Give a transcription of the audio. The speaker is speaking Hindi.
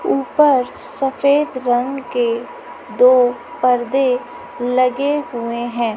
ऊपर सफेद रंग के दो परदे लगे हुए हैं।